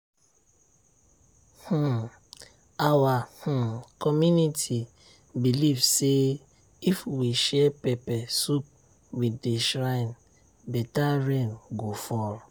um our um community believe say if we share pepper soup with the shrine better rain go fall.